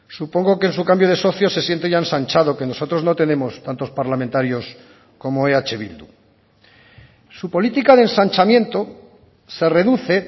supongo que en su cambio de socio se siente ya ensanchado que nosotros no tenemos tantos parlamentarios como eh bildu su política de ensanchamiento se reduce